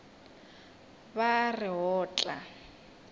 ba a re o tla